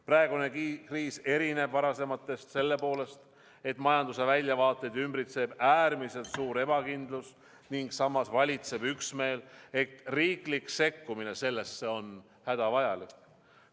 Praegune kriis erineb varasematest selle poolest, et majanduse väljavaateid ümbritseb äärmiselt suur ebakindlus ning samas valitseb üksmeel, et riiklik sekkumine sellesse on hädavajalik.